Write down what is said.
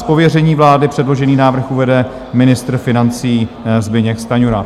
Z pověření vlády předložený návrh uvede ministr financí Zbyněk Stanjura.